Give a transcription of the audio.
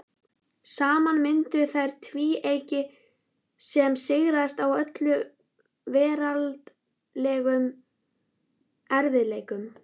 Saman mynduðu þær tvíeyki sem sigraðist á öllum veraldlegum erfiðleikum.